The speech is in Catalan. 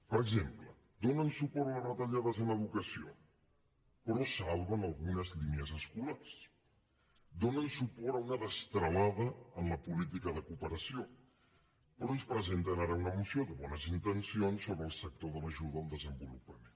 per exemple donen suport a les retallades en educació però salven algunes línies escolars donen suport a una destralada en la política de cooperació però ens presenten ara una moció de bones intencions sobre el sector de l’ajuda al desenvolupament